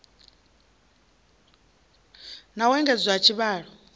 na u engedzwa ha tshivhalo